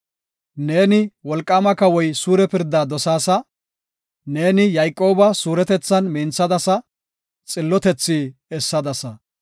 Neeni, wolqaama kawoy suure pirda dosaasa. Neeni Yayqooba suuretethan minthadasa. Xillotethi essadasa.